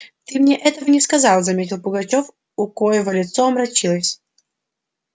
ты мне этого не сказал заметил пугачёв у коего лицо омрачилось